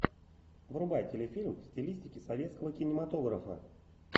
врубай телефильм в стилистике советского кинематографа